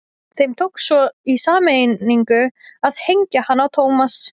Þeim tókst svo í sameiningu að hengja hann á Thomas.